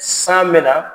San me na